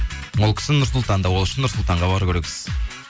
ол кісі нұрсұлтанда ол үшін нұрсұлтанға бару керексіз